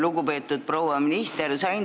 Lugupeetud proua minister!